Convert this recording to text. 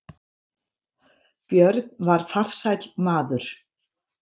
Björn var farsæll maður.